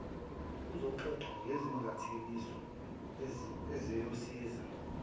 uzoxoxa ngezingathekiso eziyosiza